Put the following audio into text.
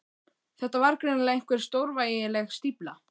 Þetta var greinilega einhver stórvægileg stífla.